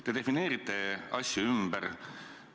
Te defineerite asju ümber.